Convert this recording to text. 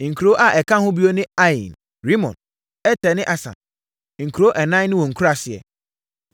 Nkuro a ɛka ho bio ne Ain, Rimon, Eter ne Asan, nkuro ɛnan ne wɔn nkuraaseɛ,